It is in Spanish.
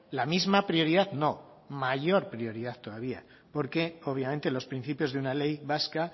la misma prioridad no mayor prioridad todavía porque obviamente los principios de una ley vasca